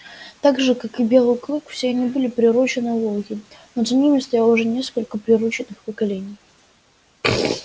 так же как и белый клык все они были приручённые волки но за ними стояло уже несколько приручённых поколений